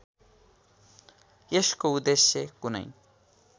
यसको उद्देश्य कुनै